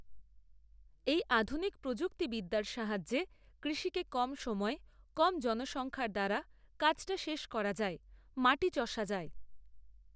এই আধুনিক প্রযুক্তিবিদ্যার সাহায্যে কৃষিকে কম সময়ে কম জনসংখ্যার দ্বারা কাজটা শেষ করা যায়, মাটি চষা যায়।